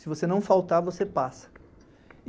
Se você não faltar, você passa.